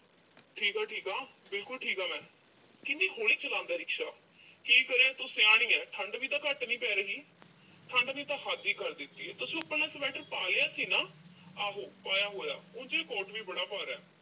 ਠੀਕ ਆਂ ਠੀਕ ਆਂ। ਬਿਲਕੁਲ ਠੀਕ ਆਂ ਮੈਂ। ਕਿੰਨੀ ਹੌਲੀ ਚਲਾਉਂਦਾ rickshaw ਕੀ ਕਰੇ ਤੂੰ ਸਿਆਣੀ ਆਂ, ਠੰਡ ਵੀ ਤਾਂ ਘੱਟ ਨੀਂ ਪੈ ਰਹੀ। ਠੰਡ ਨੇ ਤਾਂ ਹੱਦ ਹੀ ਕਰ ਦਿੱਤੀ ਆ। ਤੁਸੀਂ ਆਪਣਾ sweater ਪਾ ਲਿਆ ਸੀ ਨਾ ਅਹ ਆਹੋ ਪਾਇਆ ਹੋਇਆ, ਉਂਜ ਇਹ coat ਵੀ ਬੜੀ ਭਾਰਾ।